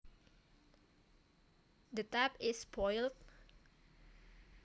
The tap is spoiled